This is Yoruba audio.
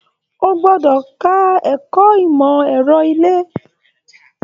O gbọdọ ka ẹ̀kọ́ ìmọ ẹrọ ile!